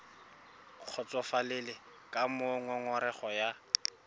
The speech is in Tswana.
kgotsofalele ka moo ngongorego ya